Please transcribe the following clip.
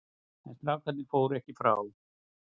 En strákarnir fóru ekki frá.